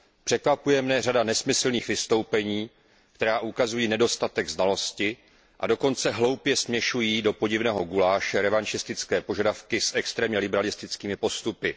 Překvapuje mě řada nesmyslných vystoupení, která ukazují nedostatek znalosti, a dokonce hloupě směšují do podivného guláše revanšistické požadavky s extrémně liberalistickými postupy.